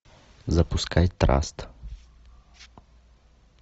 запускай траст